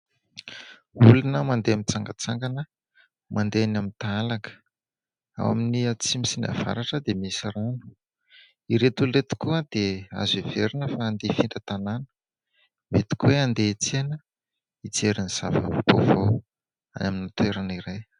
Olona mandeha mitsangatsangana mandeha eny amin'ny tahalaka. Ao amin'ny atsimo sy ny avaratra dia misy rano. Ireto olona tokoa dia azo everina fa andeha hifindra tanàna; mety koa hoe andeha hiantsena hijery ny zava-baovao any amin'ny toerana iray.